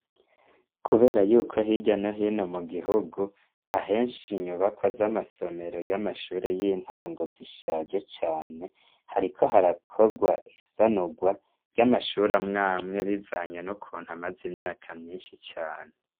Kubera yuko hirya no hino mu gihugu, ahenshi inyubakwa z'amasomero y'amashure y'intango zishaje cane, hariko harakorwa isanurwa, ry'amashure amwamwe bivanye n'ukuntu amaze imyaka myinshi cane.